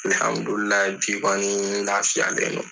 bi kɛni n lafiyalen don